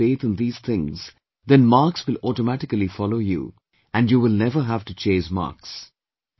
If you will have faith in these things, then marks will automatically follow you and you will never have to chase marks